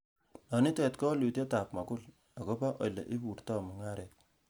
Nonitet ko wolutietab mogul ,agobo ele borto mung'aret.